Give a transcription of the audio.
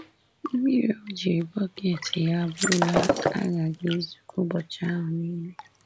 Mmiri O ji bọket ya bulaa aghaghị izu ụbọchị ahụ nile.